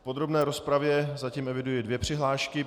V podrobné rozpravě zatím eviduji dvě přihlášky.